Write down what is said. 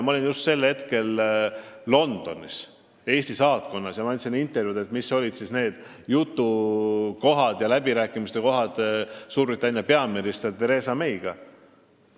Ma olin sel hetkel Londonis Eesti saatkonnas ja andsin intervjuu, mis olid need jutupunktid ja läbirääkimiste kohad Suurbritannia peaministri Theresa Mayga.